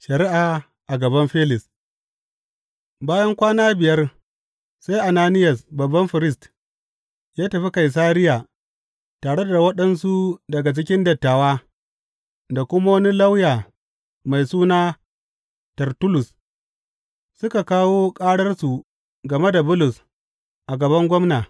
Shari’a a gaban Felis Bayan kwana biyar sai Ananiyas babban firist ya tafi Kaisariya tare da waɗansu daga cikin dattawa da kuma wani lauya mai suna Tertullus, suka kawo ƙararsu game da Bulus a gaban gwamna.